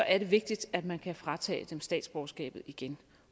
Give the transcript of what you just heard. er det vigtigt at man kan fratage dem statsborgerskabet igen